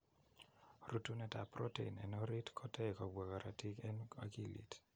Rutunet ap protein en orit kotei kobwa korotik en okilit.